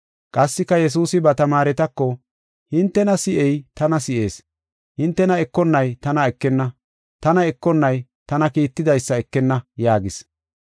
Qassika Yesuusi ba tamaaretako, “Hintena si7ey tana si7ees, hintena ekonnay tana ekenna, tana ekonnay tana kiittidaysa ekenna” yaagis.